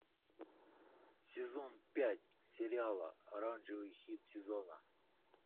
сезон пять сериала оранжевый хит сезона